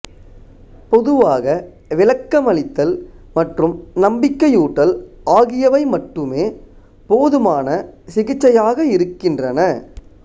பொதுவாக விளக்கமளித்தல் மற்றும் நம்பிக்கையூட்டல் ஆகியவை மட்டுமே போதுமான சிகிச்சையாக இருக்கின்றன